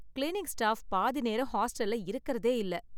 cleaning staff பாதி நேரம் ஹாஸ்டல்ல இருக்குறதே இல்ல